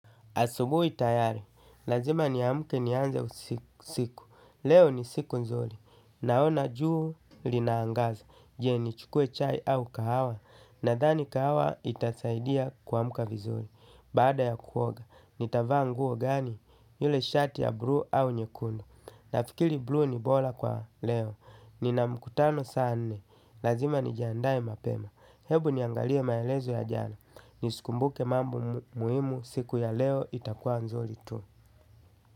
Asubu itayari. Lazima niamuke ni anze siku. Leo ni siku nzuri. Naona juu linaangaza. Je ni chukue chai au kahawa. Nadhani kahawa itasaidia kuamuka vizuri. Bada ya kuoga, nitava nguo gani? Yule shati ya buluu au nyekundu? Nafikiri buluu ni bora kwa leo, nina mkutano saa nne. Lazima nijiandae mapema. Hebu niangalie maelezo ya jana nisikumbuke mambo muhimu. Siku ya leo itakuwa nzuri tu.